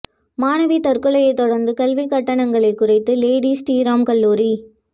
மாணவி தற்கொலையைத் தொடா்ந்து கல்விக் கட்டணங்களைக் குறைத்தது லேடி ஸ்ரீராம் கல்லூரி